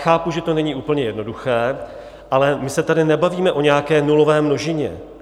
Chápu, že to není úplně jednoduché, ale my se tady nebavíme o nějaké nulové množině.